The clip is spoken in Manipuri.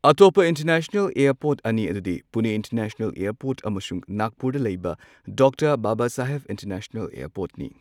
ꯑꯇꯣꯞꯄ ꯏꯟꯇꯔꯅꯦꯁꯅꯦꯜ ꯑꯦꯔꯄꯣꯔ꯭ꯠ ꯑꯅꯤ ꯑꯗꯨꯗꯤ ꯄꯨꯅꯦ ꯏꯟꯇꯔꯅꯦꯁꯅꯦꯜ ꯑꯦꯔꯄꯣꯔꯠ ꯑꯃꯁꯨꯡ ꯅꯥꯒꯄꯨꯔꯗ ꯂꯩꯕ ꯗꯣꯛꯇꯔ ꯕꯕꯥꯁꯥꯍꯦꯕ ꯏꯟꯇꯔꯅꯦꯁꯅꯦꯜ ꯑꯦꯔꯄꯣꯔ꯭ꯠꯅꯤ꯫